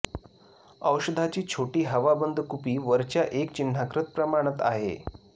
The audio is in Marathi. औषधाची छोटी हवाबंद कुपी वरच्या एक चिन्हाकृत प्रमाणात आहे